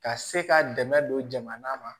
Ka se ka dɛmɛ don jamana ma